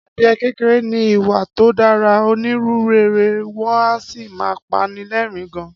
Adìe kékeré ní ìwà tó dára, onínúrere, wọn a sì máa pani lẹ́ẹ̀rín gan